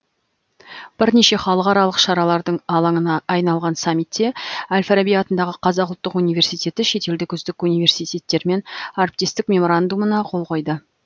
бірнеше халықаралық шаралардың алаңына айналған саммитте әл фараби атындағы қазақ ұлттық университеті шетелдік үздік университеттермен әріптестік меморандумына қол қойды